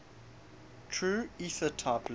true ethertype length